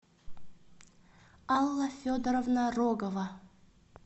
алла федоровна рогова